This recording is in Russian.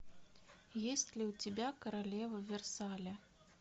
есть ли у тебя королева версаля